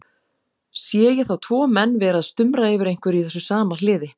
Sé ég þá tvo menn vera að stumra yfir einhverju í þessu sama hliði.